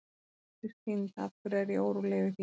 Af hverju er Arndís týnd, af hverju er ég óróleg yfir því?